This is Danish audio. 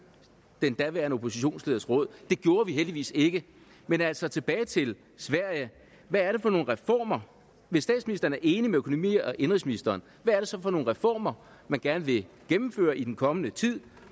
den daværende oppositionsleders råd det gjorde vi heldigvis ikke men altså tilbage til sverige hvad er det for nogle reformer hvis statsministeren er enig med økonomi og indenrigsministeren hvad er det så for nogle reformer man gerne vil gennemføre i den kommende tid